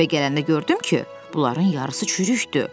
Evə gələndə gördüm ki, bunların yarısı çürükdür.